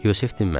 Yusif dinmədi.